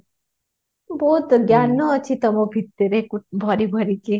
ବହୁତ ଜ୍ଞାନ ଅଛି ତମ ଭିତରେ ଭରି ଭରି କି